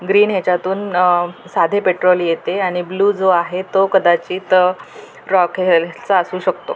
Green याच्यातून अ साधे पेट्रोल येते आणि ब्ल्यु जो आहे तो कदाचित अ रॉकेल चा असू शकतो.